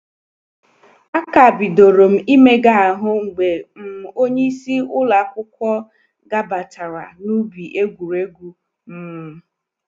A ka bidorom imega ahụ mgbe um onye isi ụlọ akwụkwọ gabatara na ubi egwuregwu um